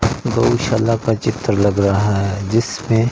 गौशाला का चित्र लग रहा है जिसमें--